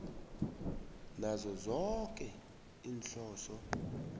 nazo zoke iinhloso